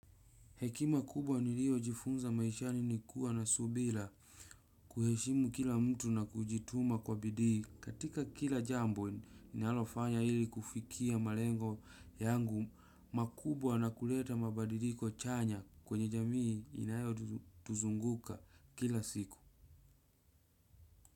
Hekima kubwa niliyo jifunza maishani ni kuwa na subila kuheshimu kila mtu na kujituma kwa bidii katika kila jambo ni nalofanya hili kufikia malengo yangu makubwa na kuleta mabadiliko chanya kwenye jamii inayo tuzunguka kila siku.